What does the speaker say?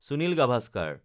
Sunil Gavaskar